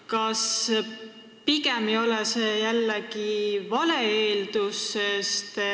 Kas see pole jällegi vale eeldus?